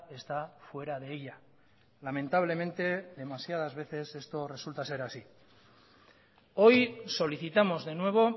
está fuera de ella lamentablemente demasiadas veces esto resulta ser así hoy solicitamos de nuevo